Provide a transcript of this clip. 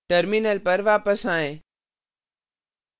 terminal पर वापस आएँ